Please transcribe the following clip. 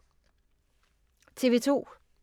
TV 2